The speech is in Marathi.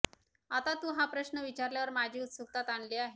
आता तु हा प्रश्न विचारल्यावर माझी उत्सुकता ताणली आहे